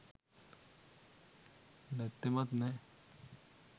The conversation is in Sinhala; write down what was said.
නැත්තෙමත් නෑ